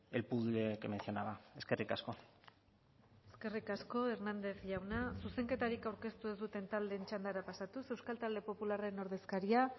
el puzzle que mencionaba eskerrik asko eskerrik asko hernández jauna zuzenketarik aurkeztu ez duten taldeen txandara pasatuz euskal talde popularraren ordezkaria